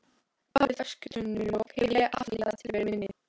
Bak við öskutunnulok hef ég afneitað tilveru minni.